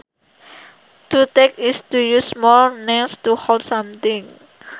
To tack is to use small nails to hold something